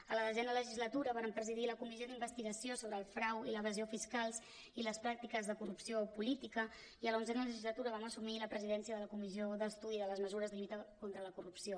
a la desena legislatura vàrem presidir la comissió d’investigació sobre el frau i l’evasió fiscals i les pràctiques de corrupció política i a l’onzena legislatura vam assumir la presidència de la comissió d’estudi de les mesures de lluita contra la corrupció